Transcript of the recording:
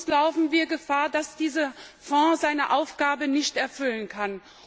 Sonst laufen wir Gefahr, dass dieser Fonds seine Aufgabe nicht erfüllen kann.